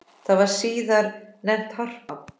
Það var síðar nefnt Harpa.